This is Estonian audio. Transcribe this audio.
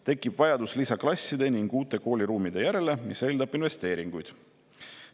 Tekib vajadus lisaklasside ning uute kooliruumide järele, mis eeldab investeeringuid.